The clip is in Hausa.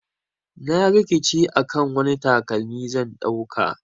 Na rikice akan wani takalmi zan dauka.